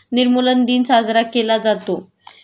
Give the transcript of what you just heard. निर्मूलन दिन साजरा केला जातो